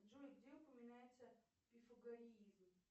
джой где упоминается пифагориизм